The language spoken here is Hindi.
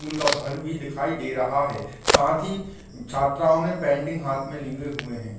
स्कूल का भवन भी दिखाई दे रहा है साथ ही छात्राओं ने पेंटिंग हाथ में लिए हुए है।